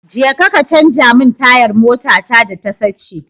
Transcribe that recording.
Jeka ka canja min tayar motata da ta sace.